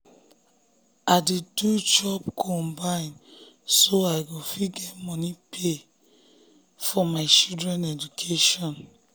i um dey do um job combi so i go fit um get money pay get money pay for my children education